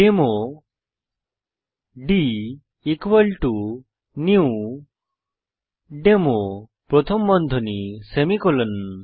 demo d new demo প্রথম বন্ধনী semicolon